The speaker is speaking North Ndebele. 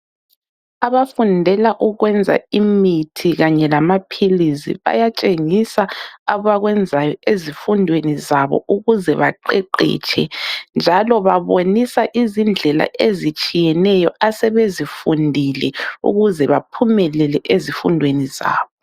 Abafundela ukwenza imithi kanye lamaphilisi bayatshengisa abakwenzayo ezifundweni zabo ukuze baqeqetshe njalo babonisa izindlela ezitshiyeneyo asebezifundile ukuze baphumelele ezifundweni zabo.